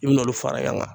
I bɛn'olu fara ɲɔgɔn kan